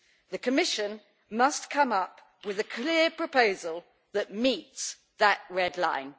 The Commission must come up with a clear proposal that meets that red line.